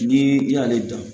Ni i y'ale dɔn